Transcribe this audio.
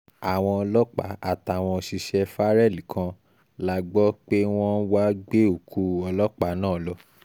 àwọn ọlọ́pàá àtàwọn òṣìṣẹ́ farrell kan la gbọ́ pé wọ́n wàá gbé òkú ọlọ́pàá náà lọ